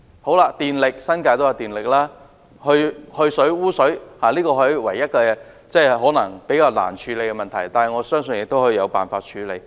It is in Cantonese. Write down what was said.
在電力方面，新界亦有電力供應，而去水和污水處理可能是唯一較難處理的問題，但我相信總有辦法處理。